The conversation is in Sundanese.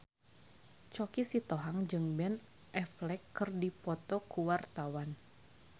Choky Sitohang jeung Ben Affleck keur dipoto ku wartawan